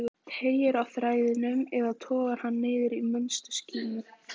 Teygir á þræðinum eða togar hann niður í minnstu skímu?